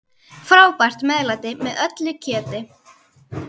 Frábært meðlæti með öllu kjöti.